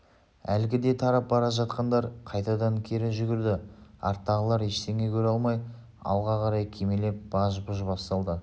әлгіде тарап бара жатқандар қайтадан кері жүгірді арттағылар ештеңе көре алмай алға қарай кимелеп баж-бұж басталды